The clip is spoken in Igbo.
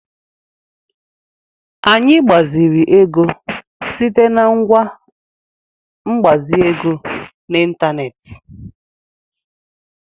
Anyị gbaziri ego site na ngwa mgbazi ego n'ịntanetị.